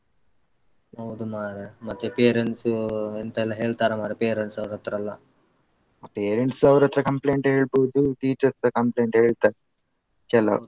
Parents ಅವರತ್ರ compliant ಹೇಳ್ಬೋದು teachers compliant ಹೇಳ್ತಾರೆ ಕೆಲವ್.